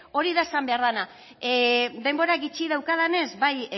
hori da esan behar dena denbora gutxi daukadanez bai